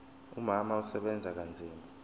umama usebenza kanzima